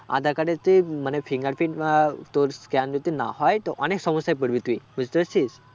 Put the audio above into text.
আধার card এ তে মানে fingerprint উম আহ তোর scan যদি না হয় তো অনেক সমস্যায় পরবি তুই. বুঝতে পারছিস?